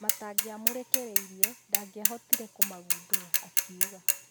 Matangĩamũrekirie, ndangĩhootire kũmagũndũra , akiuga.